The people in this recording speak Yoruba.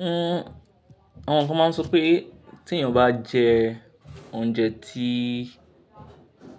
Hmm, àwọn kan máa ń sọ pé tí èeyan bá jẹ oúnjẹ tí,